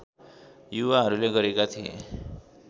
युवाहरूले गरेका थिए